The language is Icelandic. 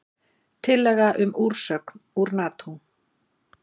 Tillaga um úrsögn úr Nató